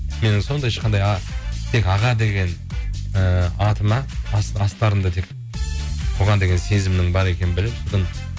менің сондай ешқандай тек аға деген ііі атыма астарында тек бұған деген сезімнің бар екеннін біліп